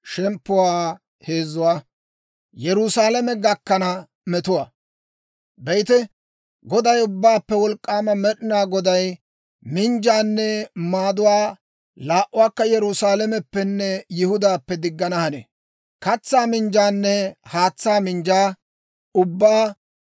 Be'ite, Goday, Ubbaappe Wolk'k'aama Med'inaa Goday minjjaanne maaduwaa laa"uwaakka Yerusaalameppenne Yihudaappe diggana hanee. Katsaa minjjaanne haatsaa minjjaa ubbaa;